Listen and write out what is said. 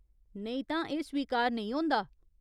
नेईं तां एह् स्वीकार नेईं होंदा।